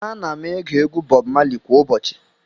Ana m ege egwu Bob Marley kwa ụbọchị.